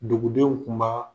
Dugudenw kun ba